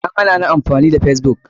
An hanani amfani da facebook.